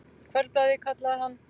Kvöldblaðið, kallaði hann.